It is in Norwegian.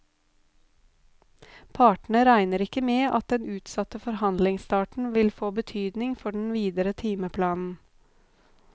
Partene regner ikke med at den utsatte forhandlingsstarten vil få betydning for den videre timeplanen.